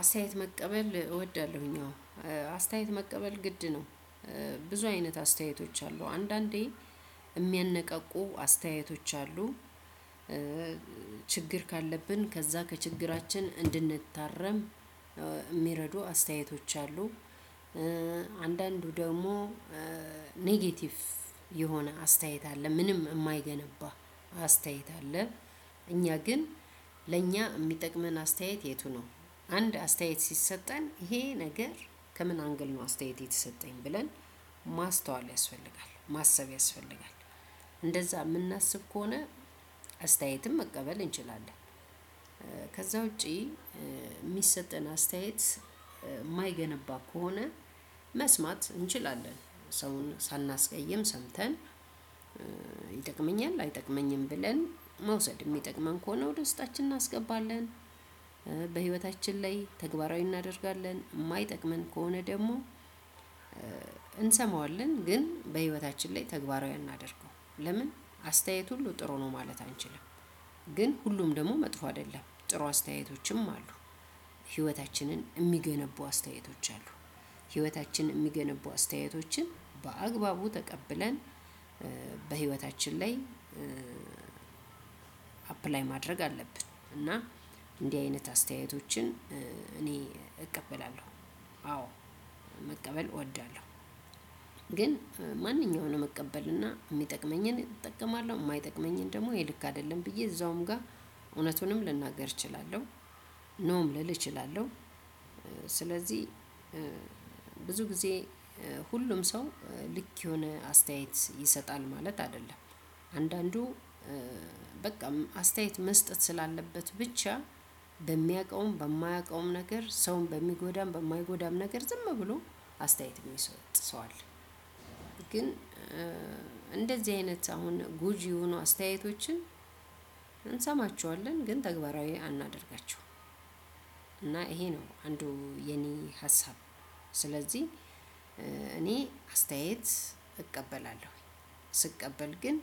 አስተያየት መቀበል እወዳለሁኝ። አሁን አስተያየት መቀበል ግድ ነው። ብዙ አይነት አስተያየቶች አሉ አንዳንዴ የሚያነቃቁ አስተያየቶች አሉ። ችግር ካለብን ከዛ ከችግራችን እንድንታረም የሚረዱ አስተያየቶች አሉ። አንዳንዱ ደግሞ ኔጌቲቭ የሆነ አስተያየት አለ። ምንም የማይገነባ አስተያየት አለ። እኛ ግን ለእኛ የሚጠቅመን አስተያየት የቱ ነው? አንድ አስተያየት ሲሰጠን ይሄ ነገር ከምን አንግል ነው አስተያየት የተሰጠኝ? ብለን ማስተዋል ያስፈልጋል። ማሰብ ያስፈልጋል። እንደዛ የምናስብ ከሆነ አስተያየትም መቀበል እንችላለን። ከዛ ውጪ የሚሰጠን አስተያየት የማይገነባ ከሆነ መስማት እንችላለን ሰውን ሳናስቀይም ሰምተን ይጠቅመኛል አይጠቅመኝም? ብለን መውሰድ። የሚጠቅመን ከሆነ ደስታችን እናስገባለን፤ በህይወታችን ላይ ተግባራዊ እናደርጋለን። የማይጠቅመን ከሆነ ደግሞ እንሰማዋለን ኝ በህይወታችን ተግባራዊ አናደርገዉም። ለምን አስተያየት ሁሉ ጥሩ ነው ማለት አንችልም። ግን ሁሉም ደግሞ መጥፎ አይደለም። ጥሩ አስተያየቶችም አሉ። ህይወታችንን የሚገነቡ አስተያየቶች አሉ። ህይወታችንን የሚገነቡ አስተያየቶችን በአግባቡ ተቀብለን በህይወታችን ላይ አፕላይ ማድረግ አለብን። እና እንዲህ አይነት አስተያየቶችን እቀበላለሁ። አዎ መቀበል እወዳለሁ። ግን ማንኛውንም እቀበልና የሚጠቅመኝን እጠቀማለሁ የማይጠቅመኝን ደግሞ ይሄ ልክ አይደለም ብዬ እዛውም ጋር እውነቱንም ልናገር እችላለሁ ኖም ልል እችላለሁ። ስለዚህ ብዙ ጊዜ ሁሉም ሰው ልክ የሆነ አስተያየት ይሰጣል ማለት አይደለም። አንዳንዱ በቃም አስተያየት መስጠት ስላለበት ብቻ በሚያውቀውም በማያውቀውም ነገር ሰውን በሚጎዳም በማይጎዳም ነገር ዝም ብሎ አስተያየት የሚሰጥ ሰው አለ። ግን እንደዚህ አይነት አሁን ጎጂ የሆኑ አስተያየቶችን እንሰማቸዋለን ግን ተግባራዊ አናደርጋቸውም። እና ይሄ ነው አንዱ የኔ ሀሳብ። ስለዚህ እኔ አስተያየት እቀበላለሁ። ስቀበል ግን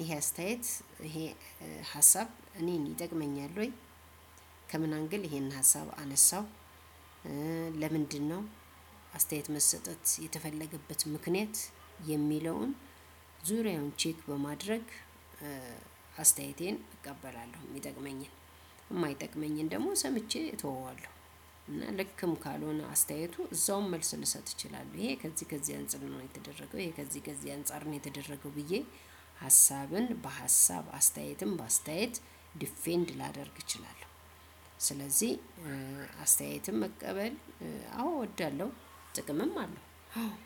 ይሄ አስተያየት ይሄ ሀሳብ እኔን ይጠቅመኛል ወይ? ከምን አንግል ይሄን ሀሳብ አነሳው? ለምንድነው አስተያየት መሰጠት የተፈለገበት ምክንያት? የሚለውን ዙሪያውን ቼክ በማድረግ አስተያየቴን እቀበላለሁ የሚጠቅመኝን። የማይጠቅመኝን ደግሞ ሰምቼ እተወዋለሁ። እና ልክም ካልሆነ አስተያየቱ እዛውም መልስ ልሰጥ እችላለሁ። ይሄ ከዚህ ከዚህ አንፃር ነው የተደረገው ይሄ ከዚህ ከዚህ አንፃር ነው የተደረገው ብዬ ሀሳብን በሀሳብ አስተያየትም በአስተያየት ዲፌንድ ላደርግ እችላለሁ። ስለዚህ አስተያየትም መቀበል አዎ እወዳለሁ ጥቅምም አለው።